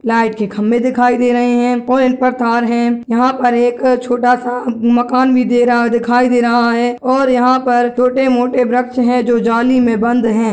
लाइट के खम्बे दिखाई दे रहे हैं पोल पर तार है यहाँ पर एक छोटा सा मकान भी दे रहा है दिखाई दे रहा है और यहाँ पर छोटे-मोटे वृक्ष है जो जाली मे बंद है।